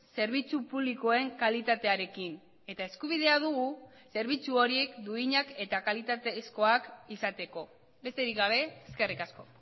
zerbitzu publikoen kalitatearekin eta eskubidea dugu zerbitzu horiek duinak eta kalitatezkoak izateko besterik gabe eskerrik asko